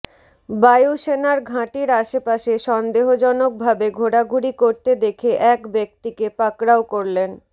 বায়ু সেনার ঘাঁটির আশপাশে সন্দেহজনক ভাবে ঘোরাঘুরি করতে দেখে এক ব্যক্তিকে পাকড়াও করলেন